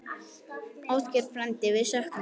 Ásgeir frændi, við söknum þín.